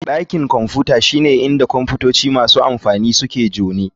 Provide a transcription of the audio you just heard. Dakin Kwamfuta shine inda kwamfutoci masu amfani suke donr.